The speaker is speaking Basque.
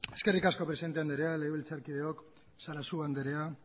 eskerrik asko presidente anderea legebiltzarkideok sarasua anderea